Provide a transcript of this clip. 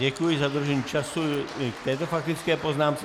Děkuji za dodržení času k této faktické poznámce.